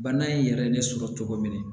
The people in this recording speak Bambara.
Bana in yɛrɛ ye ne sɔrɔ cogo min na